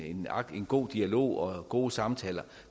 god dialog og gode samtaler